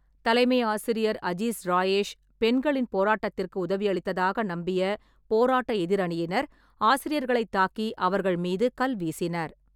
தலைமை ஆசிரியர் அஜீஸ் ராயேஷ் பெண்களின் போராட்டத்திற்கு உதவியளித்ததாக நம்பிய போராட்ட எதிரணியினர் ஆசிரியர்களைத் தாக்கி அவர்கள் மீது கல் வீசினர்.